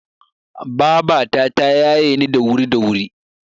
Babata ta yaye ni da wuri da wuri.